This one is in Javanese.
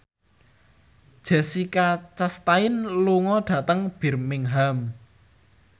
Jessica Chastain lunga dhateng Birmingham